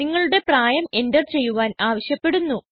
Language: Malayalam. നിങ്ങളുടെ പ്രായം എന്റർ ചെയ്യുവാൻ ആവശ്യപ്പെടുന്നു